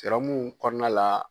Serɔmu kɔnɔna la